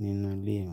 nínú ilé mi.